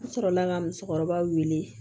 N sɔrɔla ka musokɔrɔba wele